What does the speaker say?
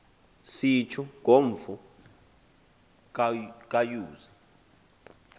sitjho ngomfo kayuzi